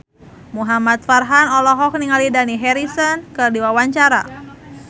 Muhamad Farhan olohok ningali Dani Harrison keur diwawancara